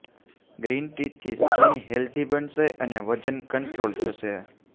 green tea થી skin healthy બનશે અને વજન કંટ્રોલ થશે